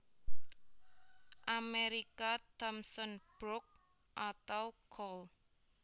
Amerika Thomson Brook/ Cole